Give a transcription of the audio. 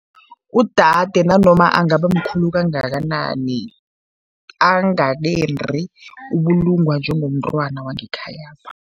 Udade nanoma angaba mkhulu kangakanani, angakendi, ubulungwa njengomntwana wangekhayapha.